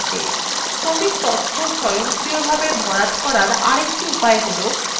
ক্রমিক তথ্য স্বয়ংক্রিয়ভাবে ভরার আরেকটি উপায় হল